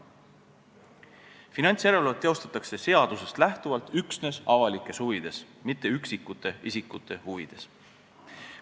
Finantsjärelevalvet tehakse seadusest lähtuvalt üksnes avalikes huvides, mitte üksikute isikute huvides.